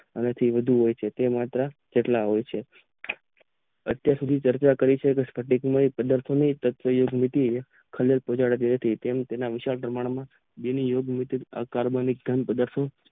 વધુ હોય છે અતેયાર સુધે જાગીયા કરી છે કેમ કે તેના ઉંચા પમાણમાં તેમ તેના કાર્બન પધાત હોય છે